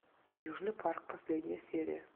южный парк последняя серия